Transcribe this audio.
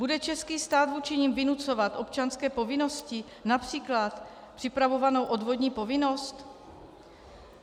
Bude český stát vůči nim vynucovat občanské povinnosti, například připravovanou odvodní povinnost?